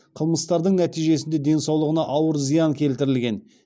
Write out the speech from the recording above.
қылмыстардың нәтижесінде денсаулығына ауыр зиян келтірілген